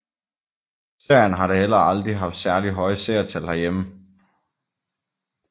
Serien har da heller aldrig haft særligt høje seertal herhjemme